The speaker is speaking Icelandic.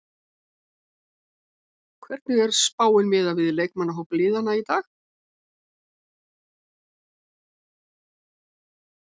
Hvernig er spáin miðað við leikmannahópa liðanna í dag?